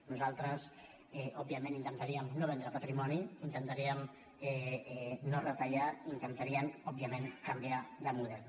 nosaltres òbviament intentaríem no vendre patrimoni intentaríem no retallar intentaríem òbviament canviar de model